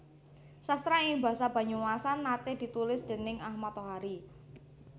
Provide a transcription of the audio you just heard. Sastra ing basa Banyumasan nate ditulis déning Ahmad Tohari